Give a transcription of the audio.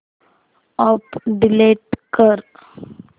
app delete कर